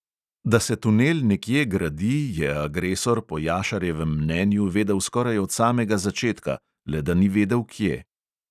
Da se tunel nekje gradi, je agresor po jašarjevem mnenju vedel skoraj od samega začetka, le da ni vedel, kje.